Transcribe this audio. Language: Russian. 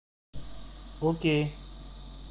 окей